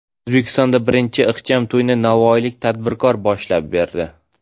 O‘zbekistonda birinchi ixcham to‘yni navoiylik tadbirkor boshlab berdi.